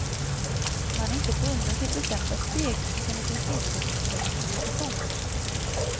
Man är inte bunden till bestämda steg utan det finns utrymme för improvisation.